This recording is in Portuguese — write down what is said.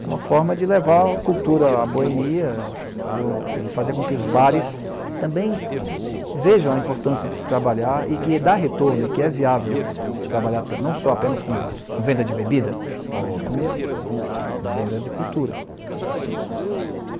É uma forma de levar a cultura à boemia e fazer com que os bares também vejam a importância de se trabalhar e que dá retorno e que é viável se trabalhar não só apenas com venda de bebida, mas com venda de cultura.